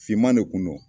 Finman de kun don